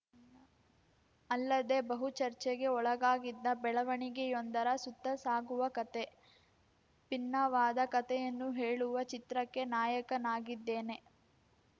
ಅಲ್ಲದೆ ಬಹು ಚರ್ಚೆಗೆ ಒಳಗಾಗಿದ್ದ ಬೆಳವಣಿಗೆಯೊಂದರ ಸುತ್ತ ಸಾಗುವ ಕತೆ ಭಿನ್ನವಾದ ಕತೆಯನ್ನು ಹೇಳುವ ಚಿತ್ರಕ್ಕೆ ನಾಯಕನಾಗಿದ್ದೇನೆ